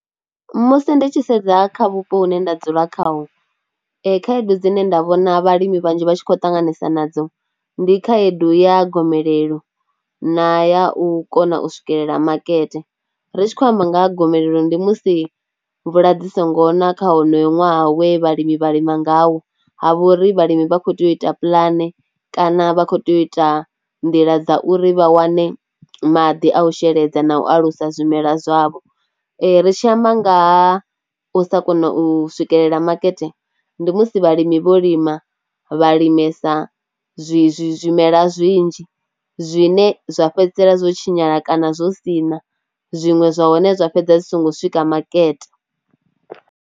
Musi ndi tshi sedza kha vhupo hune nda dzula khaho khaedu dzine nda vhona vhalimi vhanzhi vha tshi khou ṱanganesa nadzo ndi khaedu ya gomelelo na ya u kona u swikelela makete. Ri tshi khou amba nga ha gomelelo ndi musi mvula dzi songo na kha honoyo ṅwaha we vhalimi vha lima ngawo, ha vha uri vhalimi vha kho tea u ita pulane kana vha kho tea u ita nḓila dza uri vha wane maḓi a u sheledza na u alusa zwimelwa zwavho. Ri tshi amba nga ha u sa kona u swikelela makete, ndi musi vhalimi vho lima vha limesa zwi zwimela zwinzhi zwine zwa fhedzisela zwo tshinyala kana zwo sina zwiṅwe zwa hone zwa fhedzisela zwi songo swika makete.